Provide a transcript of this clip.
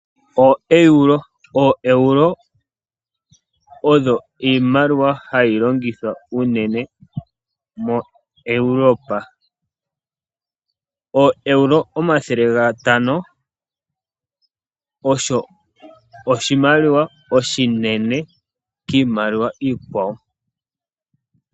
ooEuro, ooeuro odho iimaliwa hayi longithwa unene mo europa. ooEuro omathele gatano osho oshimaliwa oshinene kiimaliwa iikwawo